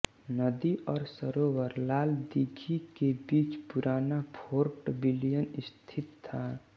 नदी और सरोवर लाल दीघि के बीच पुराना फोर्ट विलियम स्थित था